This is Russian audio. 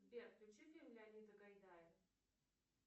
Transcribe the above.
сбер включи фильм леонида гайдая